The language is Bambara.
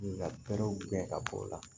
Nka bɛrɛw gɛn ka bɔ o la